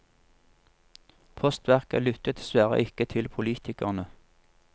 Postverket lyttet dessverre ikke til politikerne.